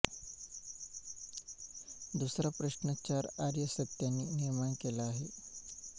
दुसरा प्रश्न चार आर्य सत्यांनी निर्माण केला आहे